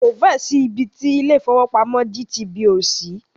Kò fẹ́ ẹ̀ sí ibi ti ilé ìfọwọ́pamo GTB ò sí.